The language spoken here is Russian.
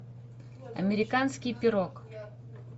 американский пирог